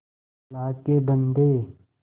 अल्लाह के बन्दे